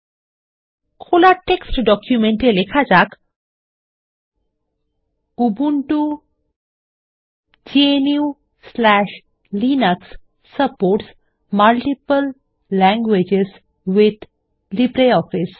খোলা text document এ লেখা যাক উবুন্টু gnuলিনাক্স supports multiple languages with LibreOffice